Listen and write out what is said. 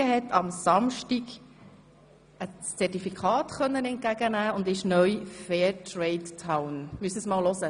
Frutigen konnte am Samstag das Zertifikat als «Fair Trade Town» entgegennehmen.